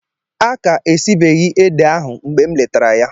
A ka esibeghị ede ahụ mgbe m letara ya.